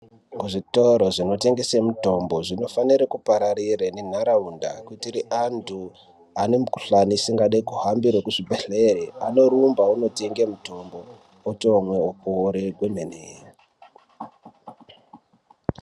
Zvitoro zvinotengese mitombo ,zvinofanire kupararira nenharaunda kuitire antu ane mikhuhlani asingadi kuhambire kuzvibhedhlere, anorumba ootenge mitombo, otomwa, opore.